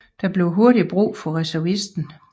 Der blev hurtigt brug for reservisten